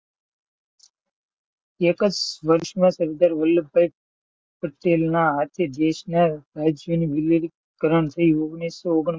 સરદાર Vallabhbhai Patel નાં હાથે દેશ નાં રાજ્ય નું વિલીનીકરણ થયું. ઓગણીસો ઓગન પચાસ,